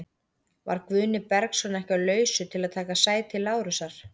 Var Guðni Bergsson ekki á lausu til að taka sæti Lárusar?